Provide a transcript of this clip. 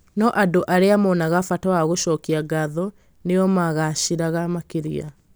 no andũ arĩa monaga bata wa gũcokia ngatho nĩo magaacĩraga makĩria